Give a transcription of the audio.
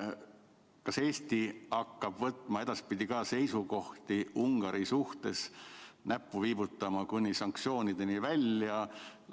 Ja kas Eesti hakkab edaspidi ka Ungari suhtes seisukohti võtma ja näppu viibutama, kuni sanktsioonideni välja,